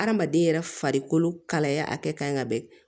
Hadamaden yɛrɛ farikolo kalaya a kɛ kan ka bɛn